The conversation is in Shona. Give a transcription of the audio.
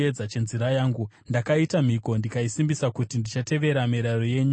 Ndakaita mhiko ndikaisimbisa, kuti ndichatevera mirayiro yenyu yakarurama.